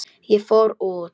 Ég fór út.